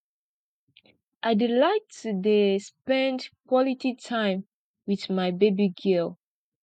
i dey like to dey spend quality time wit my baby girl